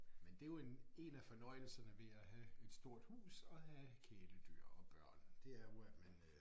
Men det jo en én af fornøjelsen ved at have et stort hus og have kæledyr og børn det er jo at man øh